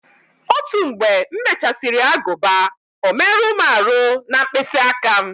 Otu mgbe m mechasiri aguba o merụ m aru na mkpịsị aka m